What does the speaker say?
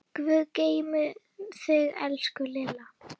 Guð geymi þig, elsku Lilla.